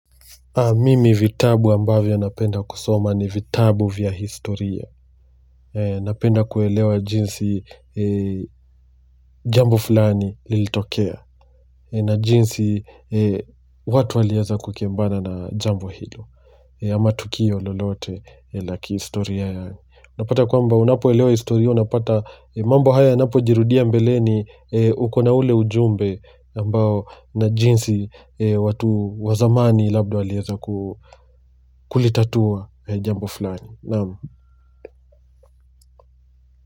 Mimi vitabu ambavyo napenda kusoma ni vitabu vya historia. Napenda kuelewa jinsi jambo fulani lilitokea. Na jinsi watu waliaza kukembana na jambo hilo. Ama tukio lolote la kihistoria ya. Napata kwamba unapo elewa historia unapata mambo haya unapo jirudia mbele ni ukona ule ujumbe ambao na jinsi watu wa zamani labda walieza kulitatua jambo fulani.